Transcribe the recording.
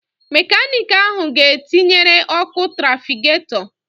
Mekanịkị ahụ ga etinyere ọkụ trafigatọ